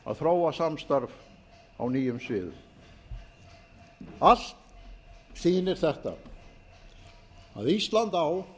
að þróa samstarf á nýjum sviðum allt sýnir þetta að ísland á